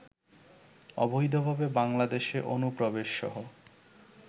অবৈধভাবে বাংলাদেশে অনুপ্রবেশসহ